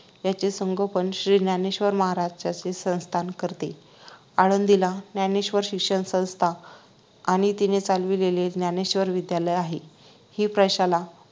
याचे संगोपन श्री ज्ञानेश्वर महाराज संस्थान करते आळंदीला ज्ञानेश्वर शिक्षण संस्था आणि तिने चालवलेले ज्ञानेश्वर विध्यालय आहे हि प्रशाला